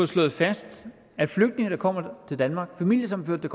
slået fast at flygtninge der kommer til danmark og familiesammenførte